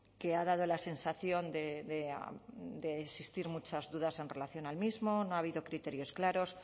que ha dado la sensación de existir muchas dudas en relación al mismo no ha habido criterios claros